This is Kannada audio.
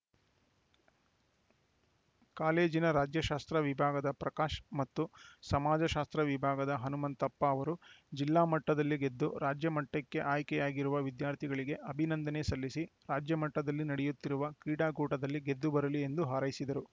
ಕಾಲೇಜಿನ ರಾಜ್ಯಶಾಸ್ತ್ರ ವಿಭಾಗದ ಪ್ರಕಾಶ್‌ ಮತ್ತು ಸಮಾಜಶಾಸ್ತ್ರ ವಿಭಾಗದ ಹನುಮಂತಪ್ಪ ಅವರು ಜಿಲ್ಲಾ ಮಟ್ಟದಲ್ಲಿ ಗೆದ್ದು ರಾಜ್ಯಮಟ್ಟಕ್ಕೆ ಆಯ್ಕೆಯಾಗಿರುವ ವಿದ್ಯಾರ್ಥಿಗಳಿಗೆ ಅಭಿನಂದನೆ ಸಲ್ಲಿಸಿ ರಾಜ್ಯಮಟ್ಟದಲ್ಲಿ ನಡೆಯುತ್ತಿರುವ ಕ್ರೀಡಾಕೂಟದಲ್ಲಿ ಗೆದ್ದು ಬರಲಿ ಎಂದು ಹಾರೈಸಿದರು